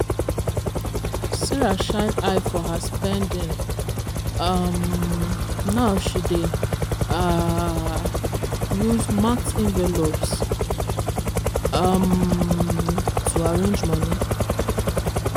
sarah shine eye for her spending um now she dey um use marked envelopes um to arrange money.